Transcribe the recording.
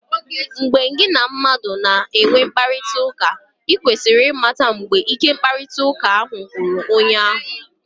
Mgbe gị na mmadụ na-enwe mkparịtaụka, i kwesịrị ịmata mgbe ike mkparịtaụka ahụ gwụrụ onye ahụ.